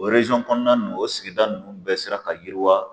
O kɔnɔna ninnu o sigida ninnu bɛɛ sera ka yiriwa.